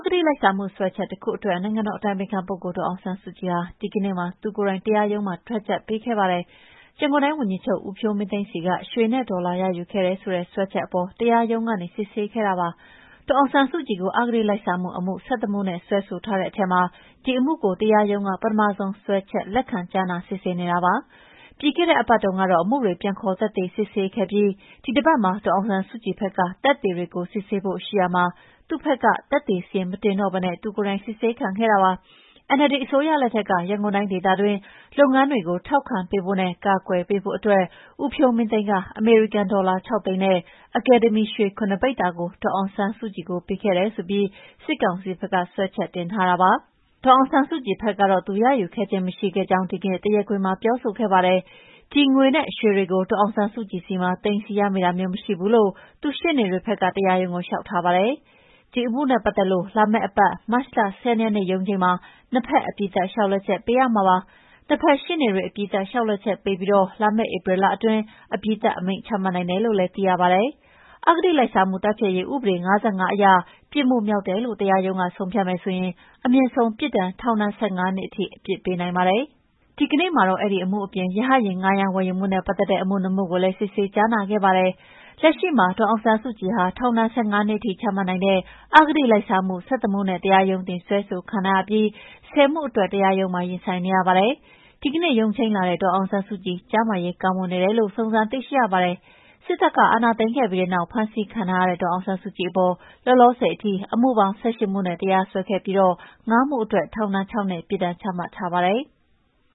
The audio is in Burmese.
တိလိုက်စားမှု စွဲချက်တခုအတွက် နိုင်ငံတော်အတိုင်ပင်ခံပုဂ္ဂိုလ်ဒေါ်အောင်ဆန်းစုကြည်ဟာ ဒီကနေ့မှာ သူကိုယ်တိုင် တရားရုံးမှာ ထွက်ချက်ပေးခဲ့ပါတယ်။ ရန်ကုန်တိုင်းဝန်ကြီးချုပ် ဦးဖြိုးမင်းသိန်းဆီက ရွှေနဲ့ဒေါ်လာရယူခဲ့တယ်ဆိုတဲ့ စွဲချက်အပေါ် တရားရုံးကနေ စစ်ဆေးခဲ့တာပါ။ ဒေါ်အောင်ဆန်းစုကြည်ကို အဂတိလိုက်စားမှု အမှု ၁၁မှုနဲ့ စွဲဆိုထားတဲ့အထဲမှာ ဒီအမှုကို တရားရုံးက ပထမဆုံးစွဲချက်လက်ခံကြားနာစစ်ဆေးနေတာပါ။ ပြီးခဲ့တဲ့အပတ်တုန်းကတော့ အမှုတွေ ပြန်ခေါ်သက်သေတွေစစ်ဆေးခဲ့ပြီး၊ ဒီအပတ်မှာ ဒေါ်အောင်ဆန်းစုကြည်ဖက်က သက်သေတွေကိုစစ်ဆေးဖို့ရှိရာမှာ သူဖက်က သက်သေစာရင်းမတင်တော့ပဲ သူကိုယ်တိုင် စစ်ဆေးခံခဲ့တာပါ။ NLD အစိုးရလက်ထက်က ရန်ကုန်တိုင်းဒေသတွင်း လုပ်ငန်းတွေကို ထောက်ခံပေးဖို့နဲ့ ကာကွယ်ပေးဖို့အတွက် ဦးဖြိုးမင်းသိန်းက အမေရိကန် ဒေါ်လာ ခြောက်သိန်းနဲ့ အကယ်ဒမီ ရွှေခုနစ်ပိဿာကို ဒေါ်အောင်ဆန်းစုကြည်ထံ ပေးပို့ခဲ့တယ်ဆိုပြီး စစ်ကောင်စီဖက်က စွဲချက်တင်ထားတာပါ။ ဒေါ်အောင်ဆန်းစုကြည်ဘက်ကတော့ သူမရယူခဲ့ခြင်းမရှိခဲ့ကြောင်း ဒီကနေ့တရားခွင်မှာ ပြောဆိုခဲ့ပါတယ်။ ဒီငွေနဲ့ ရွှေတွေကို ဒေါ်အောင်ဆန်းစုကြည်ဆီမှာ သိမ်းဆည်းရမိတာမျိုး မရှိဘူးလို့ သူ့ရှေ့နေတွေဖက်က တရားရုံးကို လျှောက်ထားပါတယ်။ ဒီအမှုနဲ့ပတ်သတ်လို့ လာမယ့်အပတ် မတ် ၂၁ရက်နေ့ရုံးချိန်းမှာနှစ်ဖက်အပြီးသတ်လျှောက် လဲချက်ပေးရမှာဖြစ်ပါတယ်။ နှစ်ဖက်ရှေ့နေတွေ အပြီးသတ်လျှောက် လဲချက်ပေးပြီး လာမယ့်ဧပြီလအတွင်းမှာအပြီးသတ်အမိန့်ချမှတ်နိုင်တယ်လို့သိရပါတယ်။ အဂတိလိုက်စားမှုတိုက်ဖျက်ရေးဥပဒေ ၅၅အရ ပြစ်မှုမြောက်တယ်လို့တရားရုံးကဆုံးဖြတ်တယ်ဆိုရင် အမြင့်ဆုံးပြစ်ဒဏ် ထောင်ဒဏ် ၁၅နှစ်အထိ အပြစ်ပေးနိုင်ပါတယ်။ ဒီကနေ့မှာတော့ အဲဒီအမှုအပြင် ရဟတ်ယာဉ်ဌားရမ်းဝယ်ယူမှုနဲ့ပတ်သတ်တဲ့ အမှု ၂မှုကိုလည်း စစ်ဆေးကြားနာမှုလုပ်ခဲ့ပါတယ်။ လက်ရှိမှာ ဒေါ်အောင်ဆန်းစုကြည်ဟာ ထောင်ဒဏ် ၁၅ နှစ်အထိချမှတ်နိုင်တဲ့ အဂတိလိုက်စားမှု ၁၁ မှုနဲ့ တရားရုံးတင်စွဲဆိုခံထားရပြီး၊ ၁၀ မှုအတွက် တရားရုံးမှာ ရင်ဆိုင်နေရပါတယ်။ ဒီနေ့ ရုံးချိန်းလာတဲ့ ဒေါ်အောင်ဆန်းစုကြည်ကျန်းမာရေး ကောင်းမွန်နေတယ်လို့ စုံစမ်းသိရပါတယ်။ စစ်တပ်အာဏာသိမ်းခဲ့ပြီးနောက် ဖမ်းဆီးခံထားရတဲ့ ဒေါ်အောင်ဆန်းစုကြည်အပေါ် လောလောဆယ်အထိ အမှုပေါင်း ၁၈ မှုနဲ့ တရားစွဲခဲ့ပြီး၊ ၅ မှုအတွက် ထောင်ဒဏ် ၆ နှစ် ပြစ်ဒဏ်ချမှတ်ထားပါတယ်။